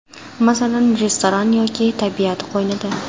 Masalan, restoran yoki tabiat qo‘ynida?